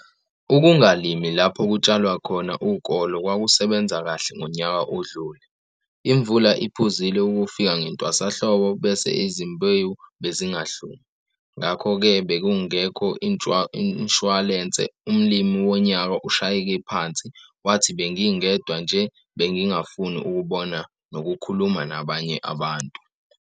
Ukungalimi lapho kutshalwa khona ukolo kwakusebenza kahle ngonyaka odlule. Imvula iphuzile ukufika ngentwasahlobo bese izimbewu bezingahlumi, ngakho-ke bekungekho inshuwalense. Umlimi Wonyaka ushayeke phansi, wathi, Bengingedwa nje bengingafuni ukubona nokukhuluma nabanye abantu.